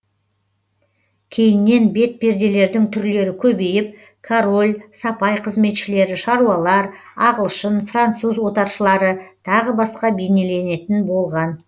кейіннен бет перделердің түрлері көбейіп король сапай қызметшілері шаруалар ағылшын француз отаршылары тағы басқа бейнеленетін болған